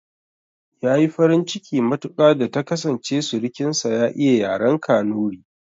Yayi farin ciki matuƙa da ta kasance surukin sa ya iya yaren kanuri